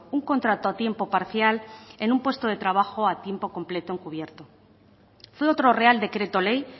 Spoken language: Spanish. un contrato a tiempo parcial en un puesto de trabajo a tiempo completo encubierto fue otro real decreto ley